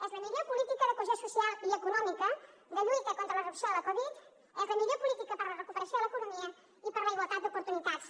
és la millor política de cohesió social i econòmica de lluita contra la reducció de la covid és la millor política per a la recuperació de l’economia i per a la igualtat d’oportunitats